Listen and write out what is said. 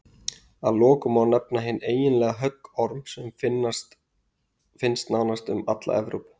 að lokum má nefna hinn eiginlega höggorm sem finnst nánast um alla evrópu